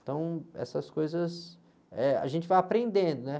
Então essas coisas, eh, a gente vai aprendendo, né?